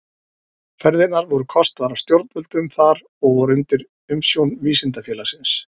Ferðirnar voru kostaðar af stjórnvöldum þar og voru undir umsjón Vísindafélagsins.